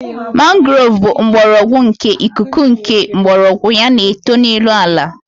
Mangrove bụ mgbọrọgwụ nke ikuku nke mgbọrọgwụ ya na-eto n'elu ala